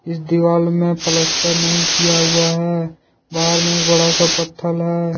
इस दीवाल में प्लस्तर नहीं किया हुआ है बाहर में एक बड़ा सा पत्थर है।